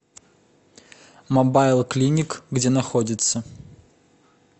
мобайл клиник где находится